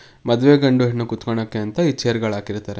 ಮದುವೆ ಗಂಡು ಹೆಣ್ಣು ಕೂತ್ಕೊಣೋಕ್ಕೆ ಅಂತ ಈ ಚೇರ್ ಗಳ್ ಹಾಕಿರ್ತ್ತರೆ.